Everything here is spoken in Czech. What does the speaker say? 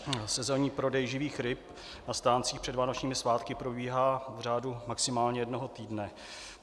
Sezónní prodej živých ryb na stáncích před vánočními svátky probíhá v řádu maximálně jednoho týdne.